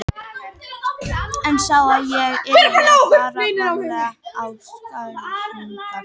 En sá að ég yrði að fara varlega í sakirnar.